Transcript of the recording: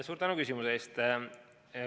Suur tänu küsimuse eest!